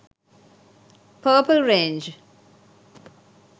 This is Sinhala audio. purple range